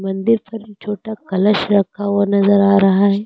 मंदिर पर छोटा कलश रखा हुआ नजर आ रहा है।